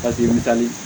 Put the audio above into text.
Ka jenini ta